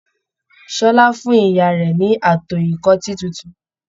Ṣọlá fún ìyá rẹ ní ato ìkọ́tì títún.